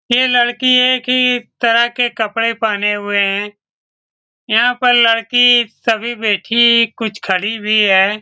ये लड़किये के तरह के कपड़े पहने हुए है यहाँ पर लड़की सभी बैठी कुछ खड़ी भी है ।